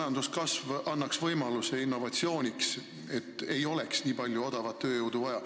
Majanduskasv annaks võimaluse innovatsiooniks, et ei olekski nii palju odavat tööjõudu vaja.